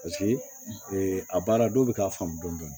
Paseke a baara dɔw bɛ k'a faamu dɔɔnin